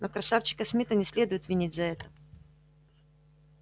но красавчика смита не следует винить за это